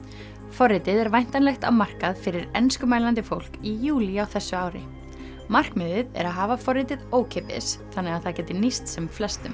forritið er væntanlegt á markað fyrir enskumælandi fólk í júlí á þessu ári markmiðið er að hafa forritið ókeypis þannig það geti nýst sem flestum